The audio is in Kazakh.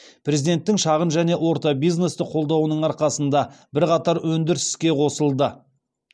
президенттің шағын және орта бизнесті қолдауының арқасында бірқатар өндіріс іске қосылды